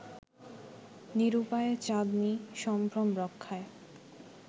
নিরূপায় চাঁদনী সম্ভ্রম রক্ষায়